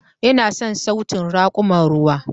Ina son sautin raƙuman ruwa.